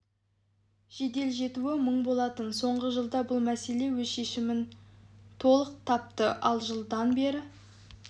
жедел жетуі мұң болатын соңғы жылда бұл мәселе өз шешімін толық тапты ал жылдан бері